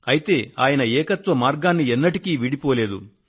అయితే ఆయన ఏకత్వ మార్గాన్ని ఎన్నటికీ వీడిపోలేదు